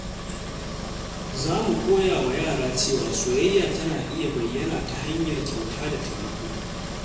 Za mu koya wa yara cewa soyayya tana iya bayyana ta hanyar kyauta da taimako.